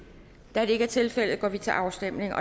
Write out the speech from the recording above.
da det ikke er tilfældet går vi til afstemning